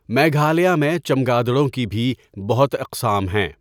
میگھالیہ میں چمگادڑوں کی بھی بہت اقسام ہیں۔